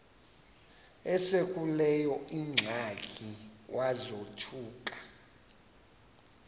esekuleyo ingxaki wazothuka